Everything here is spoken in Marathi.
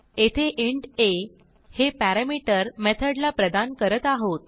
येथे इंट आ हे पॅरामीटर मेथडला प्रदान करत आहोत